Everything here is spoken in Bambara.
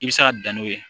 I bɛ se ka dan n'o ye